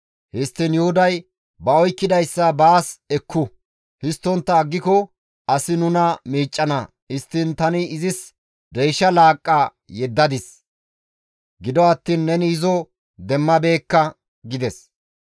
Histtiin Yuhuday, «Ba oykkidayssa baas ekku; histtontta aggiko asi nuna miiccana. Histtiin tani izis deysha laaqqa yeddadis; gido attiin neni izo demmabeekka» gides.